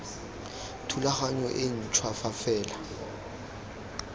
thulaganyong e ntšhwa fa fela